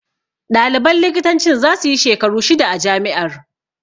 Ɗaliban likitancin za su yi shekaru shida a jami'ar.